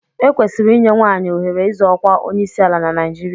E kwesịrị inye nwaanyị ohere ịzọ ọkwa onyeisiala na Naijiria.